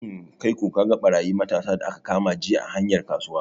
Hmm, kaiko kaga ɓarayi matasa da aka kama jiya a hanyar kasuwa?